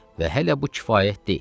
Və hələ bu kifayət deyil.